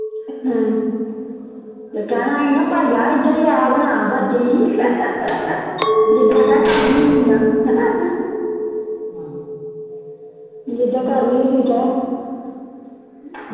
ਤੇ ਕਹਿਣਾ ਸੀ ਨਾ ਭਾਈ ਆ ਇਧਰ ਬਣਾ ਬੱਤੀ ਜਿੱਡਾ ਘਰ ਦੀ ਹੁੰਦੀ ਜਿੱਡਾ ਘਰ ਦੀ ਹੁੰਦੀਆਂ